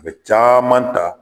A bɛ caman ta